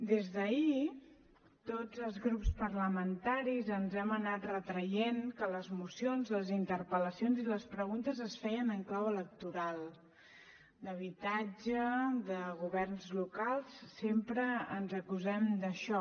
des d’ahir tots els grups parlamentaris ens hem anat retraient que les mocions les interpel·lacions i les preguntes es feien en clau electoral d’habitatge de governs locals sempre ens acusem d’això